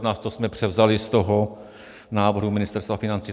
To jsme převzali z toho návrhu Ministerstva financí.